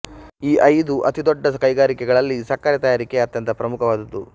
ಈ ಐದು ಅತಿ ದೊಡ್ಡ ಕೈಗಾರಿಕೆಗಳಲ್ಲಿ ಸಕ್ಕರೆ ತಯಾರಿಕೆ ಅತ್ಯಂತ ಪ್ರಮುಖವಾದದ್ದು